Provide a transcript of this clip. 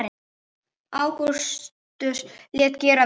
Ágústus lét gera við